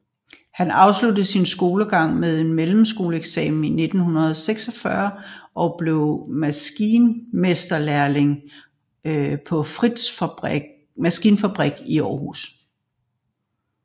Han afsluttede sin skolegang med mellemskoleeksamen i 1946 og blev maskinmesterlærling på Frichs Maskinfabrik i Aarhus